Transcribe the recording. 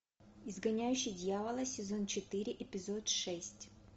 изгоняющий дьявола сезон четыре эпизод шесть